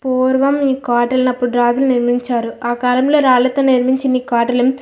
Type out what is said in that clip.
ఈ కోటాలని రాజులు అప్పుడు నిర్మించారు ఆ కాలంలో రాళ్లతో నిర్మించిన కోటలను--